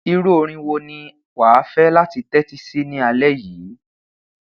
iru orin wo ni wa a fẹ lati tẹti si ni alẹ yii